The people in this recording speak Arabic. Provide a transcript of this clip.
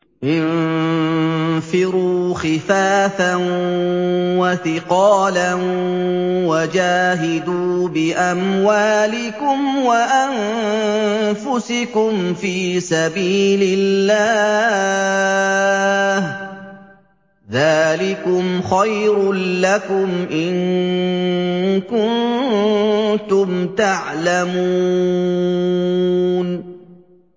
انفِرُوا خِفَافًا وَثِقَالًا وَجَاهِدُوا بِأَمْوَالِكُمْ وَأَنفُسِكُمْ فِي سَبِيلِ اللَّهِ ۚ ذَٰلِكُمْ خَيْرٌ لَّكُمْ إِن كُنتُمْ تَعْلَمُونَ